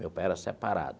Meu pai era separado.